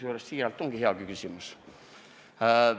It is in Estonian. Aga siiralt: ongi hea küsimus.